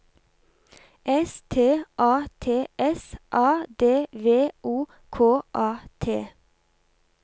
S T A T S A D V O K A T